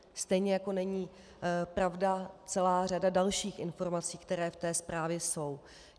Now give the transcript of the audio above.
Stejně jako není pravda celá řada dalších informací, které v té zprávě jsou.